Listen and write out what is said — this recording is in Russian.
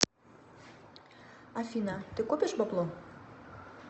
афина ты копишь бабло